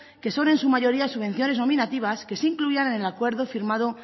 que son en su mayoría subvenciones nominativas que se incluían en el acuerdo firmado